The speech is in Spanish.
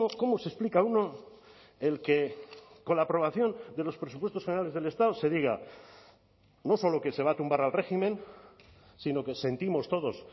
cómo se explica uno el que con la aprobación de los presupuestos generales del estado se diga no solo que se va a tumbar al régimen sino que sentimos todos